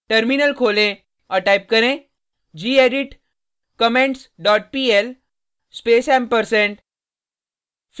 terminal खोलें और type करें gedit comments dot pl space &